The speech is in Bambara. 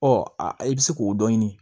Ɔ a i bɛ se k'o dɔ ɲini